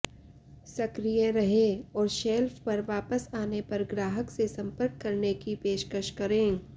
सक्रिय रहें और शेल्फ पर वापस आने पर ग्राहक से संपर्क करने की पेशकश करें